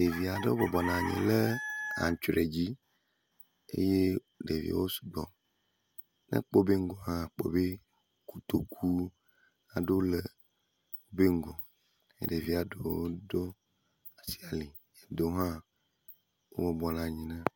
Ɖevi aɖewo bɔbɔnɔ anyi ɖe antrɔe dzi eye ɖeviawo sugbɔ. Ne ekpɔ wobe ŋgɔa akpɔ be kotoku aɖewo le wobe ŋgɔ ye ɖevia ɖewo ɖo asi ali ɖewo hã wo bɔbɔnɔ anyi.